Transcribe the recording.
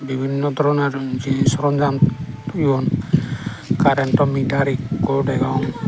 bibinno doronor jinis soronjam toyon karento mitar ekko degong.